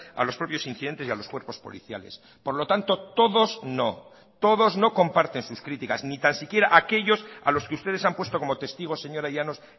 a los propios incidentes y a los cuerpos policiales por lo tanto todos no todos no comparten sus criticas ni tan siquiera aquellos a los que ustedes han puesto como testigos señora llanos